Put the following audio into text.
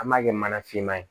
An b'a kɛ mana finman ye